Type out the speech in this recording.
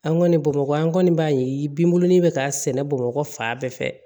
An kɔni bamakɔ an kɔni b'a ye binbulɔnin bɛ ka sɛnɛ bamakɔ fan bɛɛ fɛ